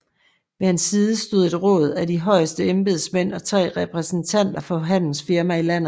Ved hans side stod et råd af de højeste embedsmænd og tre repræsentanter for handelsfirmaer i landet